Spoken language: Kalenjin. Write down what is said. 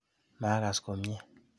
Maakas komye.